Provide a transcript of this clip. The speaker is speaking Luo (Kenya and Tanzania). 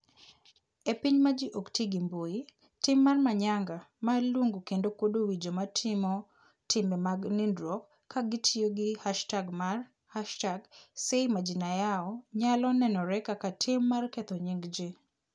E piny ma ji ok ti gi mbui, tim mar Manyanga mar luongo kendo kuodo wi joma timo timbe mag nindruok ka gitiyo gi hashtag mar #SayMajinaYao nyalo nenore kaka tim mar ketho nying ji.